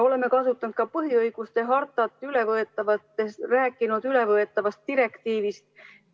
Oleme rääkinud ka põhiõiguste hartast ja ülevõetavast direktiivist.